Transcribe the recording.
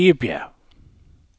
Egebjerg